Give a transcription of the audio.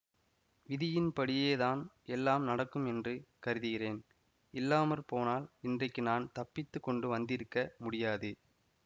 விதியின்படியே தான் எல்லாம் நடக்கும் என்று கருதுகிறேன் இல்லாம போனால் இன்றைக்கு நான் தப்பித்து கொண்டு வந்திருக்க முடியாது